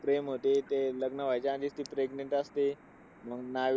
प्रेम होते. ते लग्न व्हायचा आधीच ती pregnant असते. मग नाइ